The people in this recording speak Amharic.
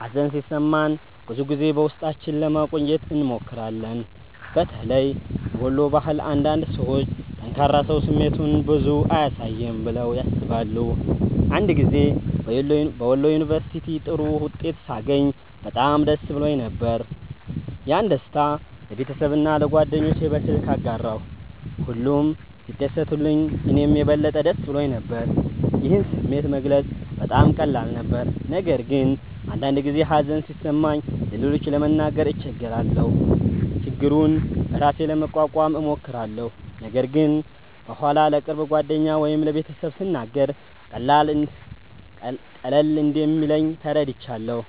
ሀዘን ሲሰማን ብዙ ጊዜ በውስጣችን ለማቆየት እንሞክራለን። በተለይ በወሎ ባህል አንዳንድ ሰዎች “ጠንካራ ሰው ስሜቱን ብዙ አያሳይም” ብለው ያስባሉ። አንድ ጊዜ በወሎ ዩንቨርስቲ ጥሩ ውጤት ሳገኝ በጣም ደስ ብሎኝ ነበር። ያንን ደስታ ለቤተሰቤና ለጓደኞቼ በስልክ አጋራሁ፣ ሁሉም ሲደሰቱልኝ እኔም የበለጠ ደስ ብሎኝ ነበር። ይህን ስሜት መግለጽ በጣም ቀላል ነበር። ነገር ግን አንዳንድ ጊዜ ሀዘን ሲሰማኝ ለሌሎች ለመናገር እቸገራለሁ። ችግሩን በራሴ ለመቋቋም እሞክራለሁ፣ ነገር ግን በኋላ ለቅርብ ጓደኛ ወይም ለቤተሰብ ስናገር ቀለል እንደሚለኝ ተረድቻለሁ።